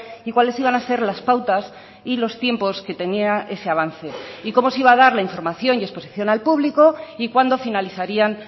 y cuáles iban a ser las pautas y los tiempos que tenía ese avance y cómo se iba a dar la información y exposición al público y cuándo finalizarían